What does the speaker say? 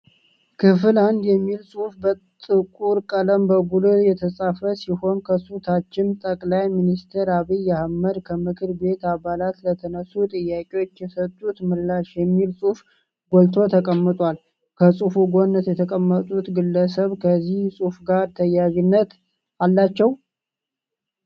ክፍል አንድ የሚል ጽሁፍ በጥቁር ቀለም በጉልህ የተጻፈ ሲሆን ከሱ ታችም ጠቅላይ ሚኒስተር አብይ አህመድ ከምክር ቤት አባላት ለተነሱ ጥያቄዎች የሰጡት ምላሽ የሚል ጽሁፍ ጎልቶ ተቀምጧል። ከጽሁፉ ጎን የተቀመጡት ግለሰብ ከዚህ ጽሁፍ ጋር ተያያዥነት አላቸው?